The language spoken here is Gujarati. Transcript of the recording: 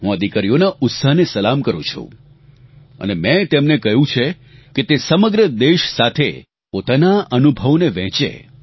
હું આ દિકરીઓના ઉત્સાહને સલામ કરું છું અને મેં તેમને કહ્યું છે કે તે સમગ્ર દેશ સાથે પોતાના અનુભવોને વહેંચે